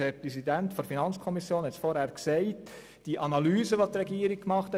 Der Präsident der FiKo hat zuvor auf die Analysen der Regierung verwiesen: